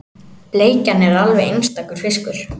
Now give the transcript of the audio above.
Bleikjan er alveg einstakur fiskur